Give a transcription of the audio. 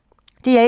DR1